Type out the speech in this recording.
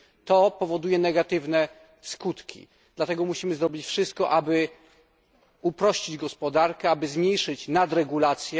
To powoduje negatywne skutki, dlatego musimy zrobić wszystko, aby uprościć gospodarkę i zmniejszyć nadregulację.